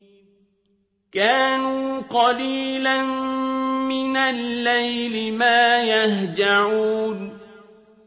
كَانُوا قَلِيلًا مِّنَ اللَّيْلِ مَا يَهْجَعُونَ